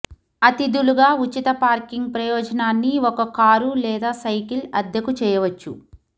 అతిథులుగా ఉచిత పార్కింగ్ ప్రయోజనాన్ని ఒక కారు లేదా సైకిల్ అద్దెకు చేయవచ్చు